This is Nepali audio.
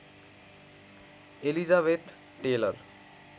Elizabeth Taylor